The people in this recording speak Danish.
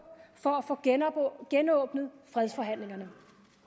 for at få genåbnet fredsforhandlingerne